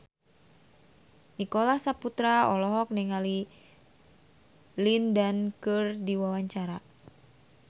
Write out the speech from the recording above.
Nicholas Saputra olohok ningali Lin Dan keur diwawancara